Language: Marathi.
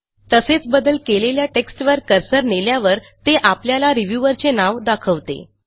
तसेच बदल केलेल्या टेक्स्टवर कर्सर नेल्यावर ते आपल्याला रिव्ह्यूअरचे नाव दाखवते